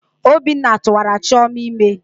Obinna tuwara chioma ime.